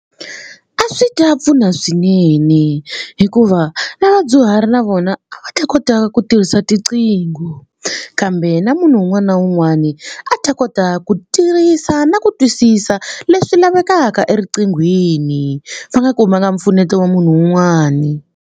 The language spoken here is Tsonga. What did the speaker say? A swi ta pfuna swinene hikuva na vadyuhari na vona a va ta kota ku tirhisa tinqingho kambe na munhu un'wana na un'wana a ta kota ku tirhisa na ku twisisa leswi lavekaka eriqinghweni va nga kumanga mpfuneto wa munhu un'wani.